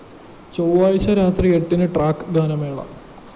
ചൊവാഴ്ച രാത്രി എട്ടിന് ട്രാക്ക്‌ ഗാനമേള